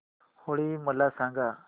होळी मला सांगा